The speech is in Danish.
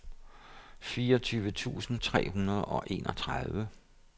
fireogtyve tusind tre hundrede og enogtredive